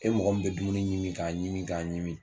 E mɔgɔ min bɛ dumuni ɲimi k'a ɲimi k'a ɲimi